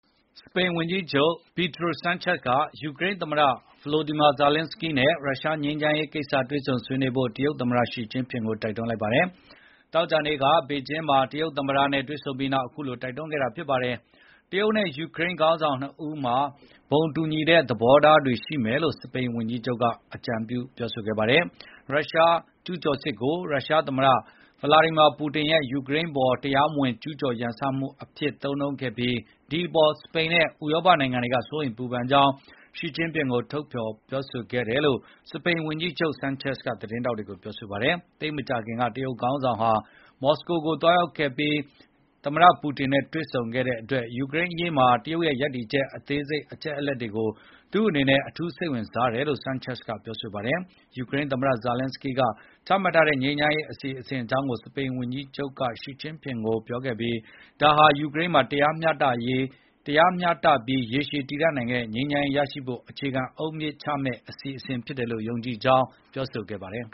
စပိန်ဝန်ကြီးချုပ် ပီဒရိုဆန်းချက်စ်က ယူကရိန်းသမ္မတ ဗိုလိုဒီမီယာ ဇာလန်းစကီးနဲ့ရုရှား ငြိမ်းချမ်းရေးကိစ္စတွေ့ဆုံဆွေးနွေးဖို့ တရုတ်သမ္မတရှီကျင့်ဖျင်ကို တိုက်တွန်းလိုက်ပါတယ်။ သောကြာနေ့က ဘေဂျင်းမှာ တရုတ်သမ္မတနဲ့ တွေ့ဆုံပြီးနောက် အခုလို တိုက်တွန်းခဲ့တာပါ။ တရုတ်နဲ့ယူကရိန်း ခေါင်းဆောင်နှစ်ဦးမှာ ဘုံတူညီတဲ့သဘောထားတွေ ရှိမယ်လို့ စပိန်ဝန်ကြီးချုပ်က အကြံပြုပါတယ်။ ရုရှားကျူးကျော်စစ်ကို ရုရှားသမ္မတဗလာဒီမီယာပူတင်ရဲ့ “ယူကရိန်းအပေါ် တရားမဝင် ကျူးကျော်ရန်စမှု” အဖြစ်သုံးနှုန်းခဲ့ပြီး ဒီ့အပေါ် စပိန်နဲ့ ဥရောပနိုင်ငံတွေက စိုးရိမ်ပူပန်ကြောင်း ရှီကျင့်ဖျင်ကို ထုတ်ဖော်ပြောဆိုခဲ့တာလို့ စပိန်ဝန်ကြီးချုပ် ဆန်းချက်ဇ်က သတင်းထောက်တွေကို ပြောပါတယ်။ သိပ်မကြာခင်က တရုတ်ခေါင်းဆောင်ဟာ မော်စကို ကို သွားရောက်လည်ပတ်ပြီး ပူတင်နဲ့တွေ့ဆုံခဲ့တဲ့အတွက် ယူကရိန် အရေးမှာ တရုတ်ရဲ့ရပ်တည်ချက် အသေးစိတ်အချက်အလက်တွေကို သူ့အနေနဲ့ အထူးစိတ်ဝင်စားတယ်လို့ ဆန်းချက်ဇ်က ပြောပါတယ်။ ယူကရိန်းသမ္မတဇလန်းစကီးက ချမှတ်ထားတဲ့ ငြိမ်းချမ်းရေးအစီအစဉ် အကြောင်းကို စပိန်ဝန်ကြီးချုပ်က ရှီကျင့်ဖျင်ကိုပြောခဲ့ပြီး ဒါဟာ ယူကရိန်းမှာ တရားမျှတပြီး ရေရှည်တည်တံ့တဲ့ ငြိမ်းချမ်းရေးရရှိဖို့ အခြေခံအုတ်မြစ်ချမယ့် အစီအစဉ် ဖြစ်တယ်လို့ ယုံကြည်ကြောင်း ဆိုပါတယ်